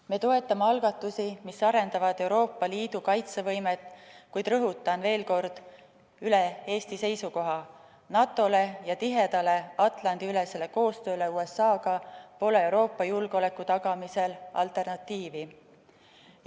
Me toetame algatusi, mis arendavad Euroopa Liidu kaitsevõimet, kuid rõhutan veel kord üle Eesti seisukoha: NATO-le ja tihedale Atlandi-ülesele koostööle USA‑ga pole Euroopa julgeoleku tagamisel alternatiivi.